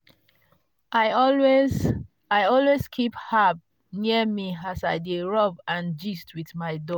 i always i always keep herbs near me as i dey rub and gist with my dog.